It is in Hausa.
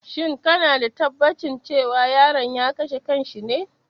Shin kana da tabbacin cewa yaron ya kashe kan shi ne?